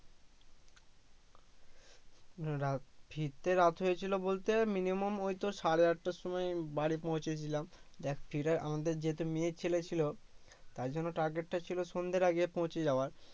হম রাত ফিরতে রাত হয়েছিলো বলতে minimum ওইতোড় সাড়ে আটটার সময় বাড়ি পৌছেছিলাম দেখ আমাদের যেতে মেয়ে ছেলে ছিলো তারজন্য target টা ছিলো সন্ধ্যের আগে পৌছে যাওয়ার